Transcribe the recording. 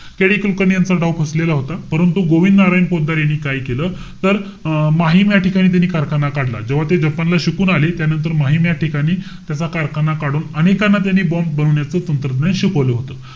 KD Kulkarni यांचा डाव फसलेला होता. परंतु गोविंद नारायण पोतदार यांनी काय केलं? तर, अं माहीम या ठिकाणी त्यांनी कारखाना काढला. जेव्हा ते जपानला शिकून आले. त्यानंतर माहीम या ठिकाणी, त्याचा कारखाना काढून, अनेकांना त्यांनी bomb बनवण्याचं तंत्रज्ञान शिकवलं होतं.